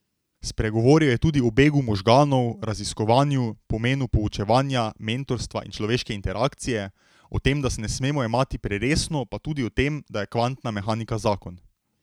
Spregovoril je tudi o begu možganov, raziskovanju, pomenu poučevanja, mentorstva in človeške interakcije, o tem, da se ne smemo jemati preresno pa tudi o tem, da je kvantna mehanika zakon.